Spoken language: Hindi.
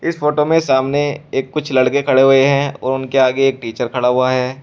फोटो में सामने एक कुछ लड़के खड़े हुए हैं और उनके आगे टीचर खड़ा हुआ है।